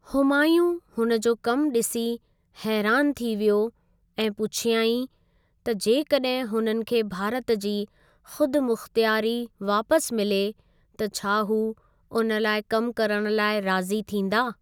हुमायूँ हुन जो कम ॾिसी हैरान थी वियो ऐं पुछियाईंनि त जेकॾहिं हुननि खे भारत जी खुदमुख्तियारी वापस मिले त छा हू उन लाइ कम करणु लाइ राज़ी थींदा।